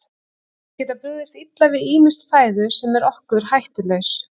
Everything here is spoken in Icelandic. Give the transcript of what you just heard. Þeir geta brugðist illa við ýmissi fæðu sem er okkur hættulaus.